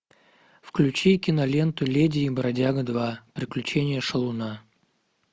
включи киноленту леди и бродяга два приключения шалуна